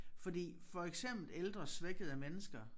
Fordi for eksempel ældre svækkede mennesker